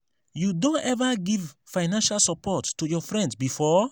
you don ever give financial support to your friend before?